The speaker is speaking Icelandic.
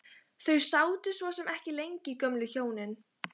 Þau sátu svo sem ekki lengi gömlu hjónin.